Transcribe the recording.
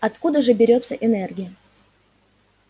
откуда же берётся энергия